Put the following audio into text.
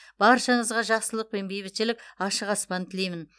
баршаңызға жақсылық пен бейбітшілік ашық аспан тілеймін